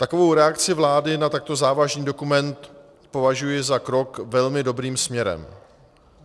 Takovou reakci vlády na takto závažný dokument považuji za krok velmi dobrým směrem.